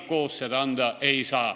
Koos nad seda anda ei saa.